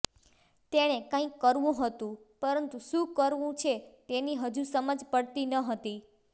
તેણે કંઇક કરવું હતું પરંતુ શું કરવું છે તેની હજુ સમજ પડતી ન હતી